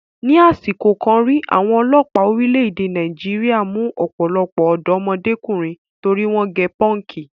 Ni àsìkò kan rí, àwọn ọlọ́pàá orílẹ̀-èdè Nàìjíríà mú ọ̀pọ̀lọpọ̀ ọ̀dọ́mọdékùnrin torí wọ́n gẹ pọ́ǹkì.